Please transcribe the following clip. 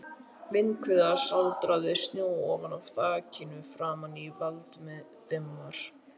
Vindhviða sáldraði snjó ofan af þakinu framan í Valdimar.